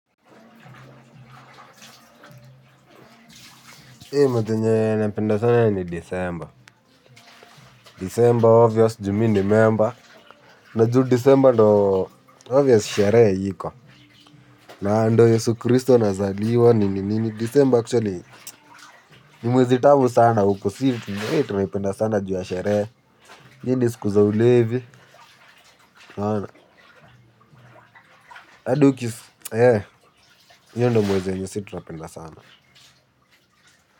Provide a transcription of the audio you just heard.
Hii mwezi yenye napenda sana ni December. December obvious ju mi ni member. Na juu December ndio obvious sherehe iko. Na ndio Yesu Christo anazaliwa nini nini, December actually ni mwezi tamu sana huku. Si, tumeipenda sana juu ya sherehe. Hii ni siku za ulevi, eee, hiyo ndio mwezi yenye si tunapenda sana.